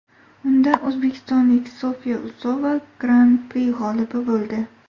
Unda o‘zbekistonlik Sofya Usova gran-pri g‘olibi bo‘ldi.